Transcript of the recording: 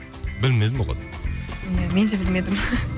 білмедім ия мен де білмедім